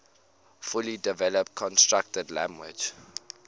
fully developed constructed language